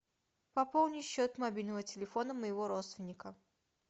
пополни счет мобильного телефона моего родственника